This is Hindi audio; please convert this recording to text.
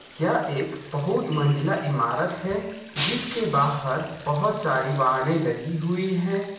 यह एक बहुत मंजिला इमारत है जिसके बाहर बहुत सारी वाहने लगी हुई है।